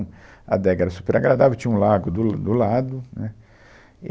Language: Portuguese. Adega era super agradável, tinha um lago do do lado, né.